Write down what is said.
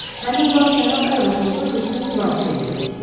Həmin vaxt cənab Arbetnotla qızğın mübahisə eləyirdik.